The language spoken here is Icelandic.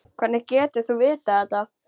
Hvernig getur þú vitað þetta?